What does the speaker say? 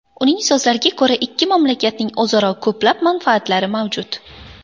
Uning so‘zlariga ko‘ra, ikki mamlakatning o‘zaro ko‘plab manfaatlari mavjud.